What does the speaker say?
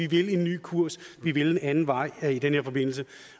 vi vil en ny kurs vi vil en anden vej i den her forbindelse